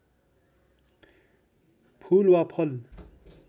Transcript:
फूल वा फल